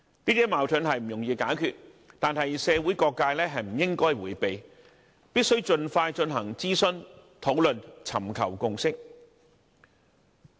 這些矛盾不易解決，但社會各界不應迴避，必須盡快進行諮詢和討論，尋求共識。